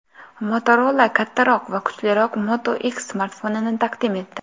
Motorola kattaroq va kuchliroq Moto X smartfonini taqdim etdi.